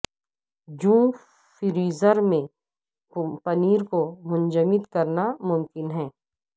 جو فریزر میں پنیر کو منجمد کرنا ممکن ہے